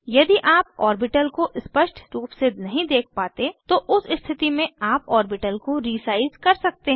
यदि आप ऑर्बिटल को स्पष्ट रूप से नहीं देख पाते तो उस स्थिति में आप ऑर्बिटल को रीसाइज़ कर सकते हैं